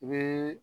I bɛ